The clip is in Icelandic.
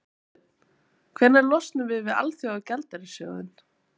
Þorbjörn: Hvenær losnum við við Alþjóðagjaldeyrissjóðinn?